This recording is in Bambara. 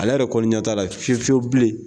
Ale yɛrɛ kɔni ɲɛ t'a la fiyewu fiyewu bilen